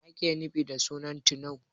Me ake nufi da sunan Tunau?